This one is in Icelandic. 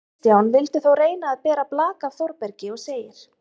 Kristján vildi þó reyna að bera blak af Þórbergi og segir: